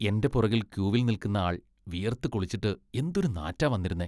എന്റെ പുറകിൽ ക്യൂവിൽ നിൽക്കുന്ന ആൾ വിയർത്ത് കുളിച്ചിട്ട് എന്തൊരു നാറ്റാ വന്നിരുന്നേ.